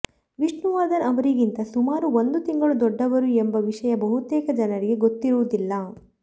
ವಿಷ್ಣುವರ್ಧನ್ ಅವರಿಗಿಂತ ಸುಮಾರು ಒಂದು ತಿಂಗಳು ದೊಡ್ಡವರು ಎಂಬ ವಿಷಯ ಬಹುತೇಕ ಜನರಿಗೆ ಗೊತ್ತಿರುವುದಿಲ್ಲ